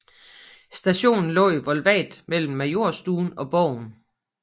Stationen lå i Volvat mellem Majorstuen og Borgen